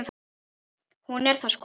Hún er það sko.